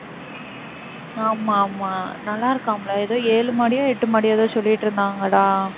ஆமா, ஆமா, நல்லா இருக்காம்ல? ஏதோ ஏழு மாடியோ, எட்டு மாடியோ ஏதோ சொல்லிட்டு இருந்தாங்கடா